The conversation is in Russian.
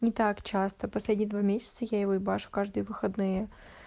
не так часто последние два месяца я его ебашу каждые выходные